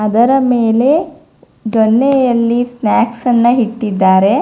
ಇದರ ಮೇಲೆ ದೊನ್ನೆಯಲ್ಲಿ ಸ್ನಾಕ್ಸ್ ಅನ್ನ ಇಟ್ಟಿದ್ದಾರೆ.